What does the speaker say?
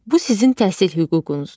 Bu sizin təhsil hüququnuzdur.